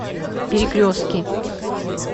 перекрестки